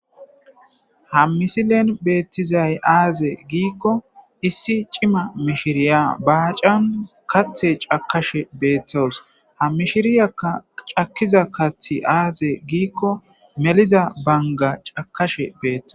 Ha misilen beetizay azee giikon issi c'ima mishiriya baacan kaathi cakashe beetaws. Ha mishiriya cakiza kaathi azee gikon meliza banga cakashe beetaws.